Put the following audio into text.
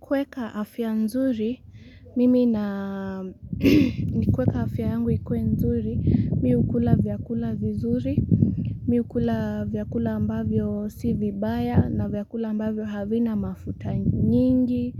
Kuweka afya nzuri, mimi na, ni kuweka afya yangu ikuwe nzuri, mi hukula vyakula vizuri, mi hukula vyakula ambavyo si vibaya, na vyakula ambavyo havina mafuta nyingi